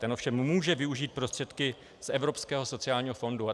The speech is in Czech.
Ten ovšem může využít prostředky z Evropského sociální fondu.